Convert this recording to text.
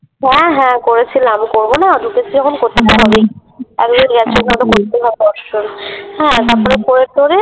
হ্যাঁ হ্যাঁ করেছিলাম। করবোনা ঢুকেছি যখন করতেতো হবেই হ্যাঁ তারপরে করে টোরে